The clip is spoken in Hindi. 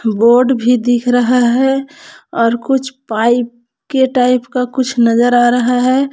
बोर्ड भी दिख रहा है और कुछ पाइप के टाइप का कुछ नजर आ रहा है।